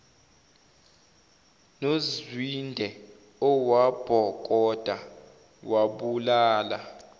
nozwide owabhokoda wabulala